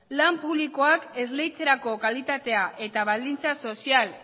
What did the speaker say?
lan publikoak esleitzerako kalitatea eta baldintza sozial